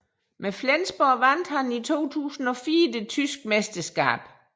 Med Flensburg vandt han i 2004 det tyske mesterskab